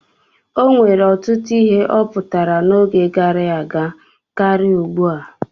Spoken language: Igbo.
O nwere ọtụtụ ihe ọ pụtara n'oge gara aga karịa ugbu a.